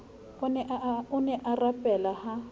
o ne a rapela ha